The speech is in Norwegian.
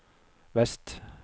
vest